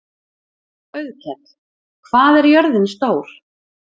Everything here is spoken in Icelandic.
Auðkell, hvað er jörðin stór?